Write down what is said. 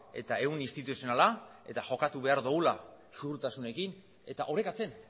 eta ehun instituzionala eta jokatu behar dugula ziurtasunekin eta orekatzen